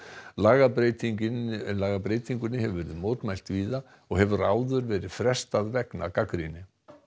lagabreytingunni lagabreytingunni hefur verið mótmælt víða og hefur áður verið frestað vegna gagnrýni